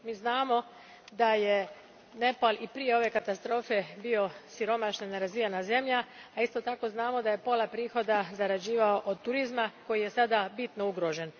Mi znamo da je Nepal i prije ove katastrofe bio siromašna, nerazvijena zemlja, a isto tako znamo da je pola prihoda zarađivao od turizma koji je sada bitno ugrožen.